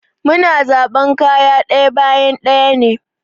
Mu na zaɓan kayan ɗaya bayan ɗaya ne.